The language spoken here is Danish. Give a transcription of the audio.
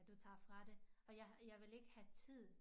Du tager fra det og jeg ville ikke have tid